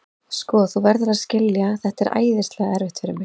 Sko, þú verður að skilja hvað þetta er æðislega erfitt fyrir mig.